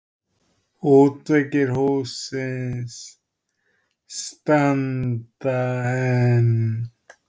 Útveggir hússins standa enn.